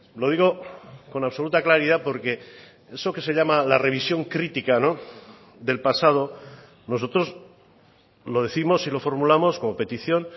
lo digo con absoluta claridad porque eso que se llama la revisión crítica del pasado nosotros lo décimos y lo formulamos como petición